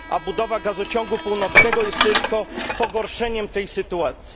A budowa gazociągu północnego jest tylko pogorszeniem tej sytuacji.